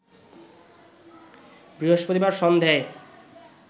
বৃহস্পতিবার সন্ধেয়